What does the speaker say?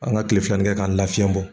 An ka tile filanin kɛ k'an lafiyɛn bɔ